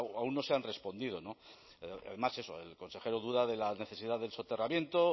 aún no se han respondido no además eso el consejero duda de la necesidad del soterramiento